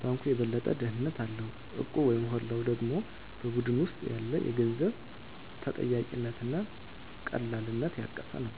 ባንኩ የበለጠ ደህንነት አለው፣ እቁቡ/ሆላው ደግሞ በቡድን ውስጥ ያለ የገንዘብ ተጠያቂነት እና ቀላልነት ያቀፈ ነው።